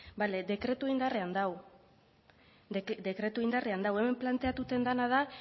bale dekretua indarrean dago dekretua indarrean dago hemen planteatzen dena da